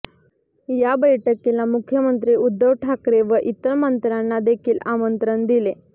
या बैठकीला मुख्यमंत्री उद्धव ठाकरे व इतर मंत्र्यांना देखील आमंत्रण दिले